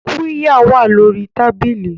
Qirya wà lórí tábìlì